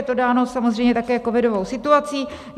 Je to dáno samozřejmě také covidovou situací.